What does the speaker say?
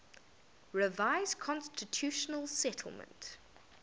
revised constitutional settlement